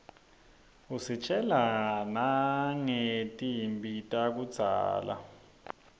usitjela nangetimphi takudzala